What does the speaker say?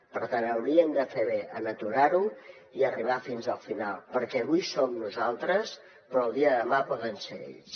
per tant haurien de fer bé en aturar ho i arribar fins al final perquè avui som nosaltres però el dia de demà poden ser ells